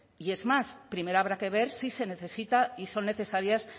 y es más primero habrá que ver si se necesita y son necesarias